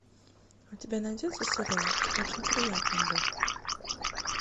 у тебя найдется сериал очень приятно бог